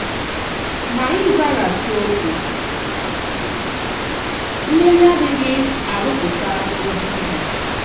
Ma ịzàghàchì òkwù nlèlì adìghị àrụ̀pụ̀tà èzì ìhè.